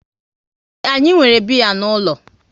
Ee, anyi nwere biya n'ulo